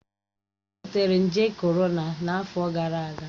Ị nwetara nje korona n'afọ gara aga?